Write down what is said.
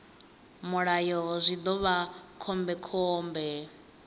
mulayo zwi ḓo vha khombekhombe